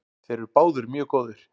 Þeir eru báðir mjög góðir.